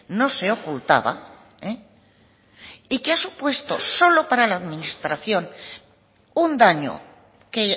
no se ocultaba y que ha supuesto solo para la administración un daño que